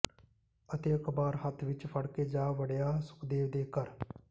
ਅਤੇ ਅਖਬਾਰ ਹੱਥ ਵਿੱਚ ਫੜਕੇ ਜਾ ਵੜਿਆ ਸੁਖਦੇਵ ਦੇ ਘਰ